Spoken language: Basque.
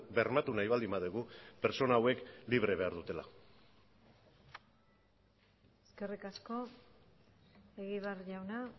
bermatu nahi baldin badugu pertsona hauek libre behar dutela eskerrik asko egibar jauna